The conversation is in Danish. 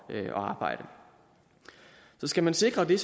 at arbejde så skal man sikre det